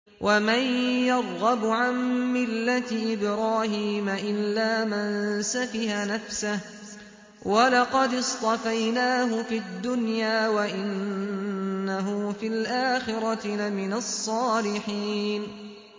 وَمَن يَرْغَبُ عَن مِّلَّةِ إِبْرَاهِيمَ إِلَّا مَن سَفِهَ نَفْسَهُ ۚ وَلَقَدِ اصْطَفَيْنَاهُ فِي الدُّنْيَا ۖ وَإِنَّهُ فِي الْآخِرَةِ لَمِنَ الصَّالِحِينَ